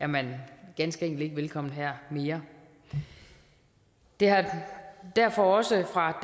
man ganske enkelt ikke velkommen her mere det har derfor også fra